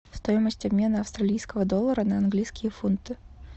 стоимость обмена австралийского доллара на английские фунты